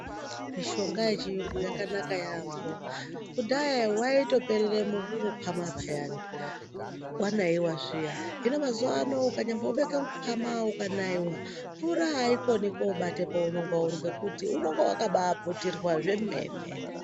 Mishonga yechiyungu yakanaka yamho kudhaya waitoperera mukwama payani wanaiwa zviyani hino mazuva ano ukabeka mukwama ukanaiwa mvura aikoni kupinda ngekuti unenge wakaputirwa zvemene.